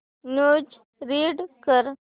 news read कर